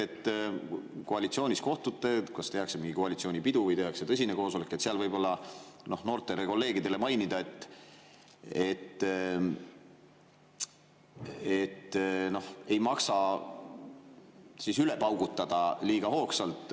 Kui te koalitsioonis kohtute, kas tehakse mingi koalitsioonipidu või tõsine koosolek, siis seal võiks noortele kolleegidele mainida, et ei maksa liiga hoogsalt üle paugutada.